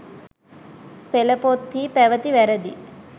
පෙළ පොත් හි පැවති වැරදි